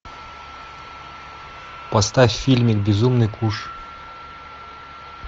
поставь фильмик безумный куш